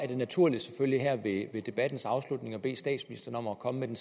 det naturligt her ved af debatten at bede statsministeren om at komme med en